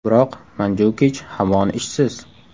Biroq Manjukich hamon ishsiz.